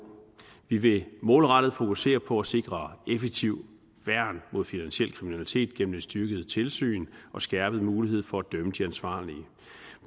vi vil målrettet fokusere på at sikre et effektivt værn mod finansiel kriminalitet gennem et styrket tilsyn og skærpet mulighed for at dømme de ansvarlige